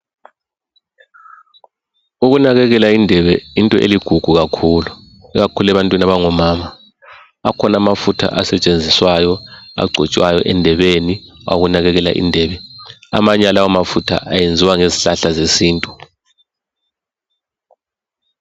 Ukunakekela indebe yinto eligugu kakhulu, ikakhulu ebantwini abangomama. Akhona amafutha asetshenziswayo, agcotshwayo endebeni, awokunakekela indebe. Amanye alawo mafutha ayenziwa ngezihlahla zesintu.